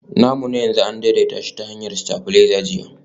namu na yanzu an daidaita shi ta hanyar stabilizer jiya